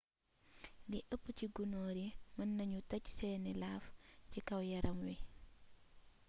lii ëp ci gunóor yi mën nañu tej seeni laaf ci kaw yaram wi